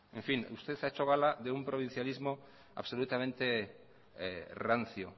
usted ha hecho gala de un provincialismo absolutamente rancio